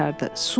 Su.